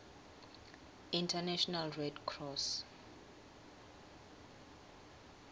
international red cross